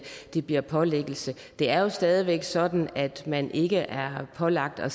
det bliver pålæggelse det er jo stadig væk sådan at man ikke er pålagt at